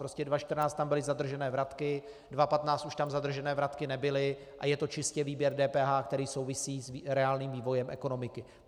Prostě 2014 tam byly zadržené vratky, 2015 už tam zadržené vratky nebyly a je to čistě výběr DPH, který souvisí s reálným vývojem ekonomiky.